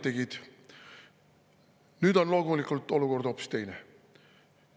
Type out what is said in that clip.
Nüüd on olukord loomulikult hoopis teine.